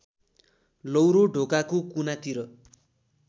लौरो ढोकाको कुनातिर